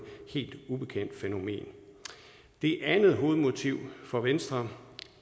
helt ubekendt fænomen det andet hovedmotiv for venstre